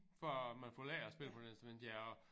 For at man får lært at spille på et instrument ja og